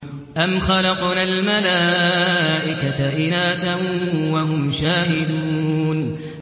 أَمْ خَلَقْنَا الْمَلَائِكَةَ إِنَاثًا وَهُمْ شَاهِدُونَ